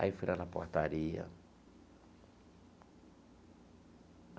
Aí fui lá na portaria.